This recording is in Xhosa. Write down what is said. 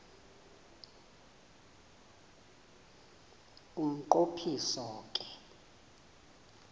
umnqo phiso ke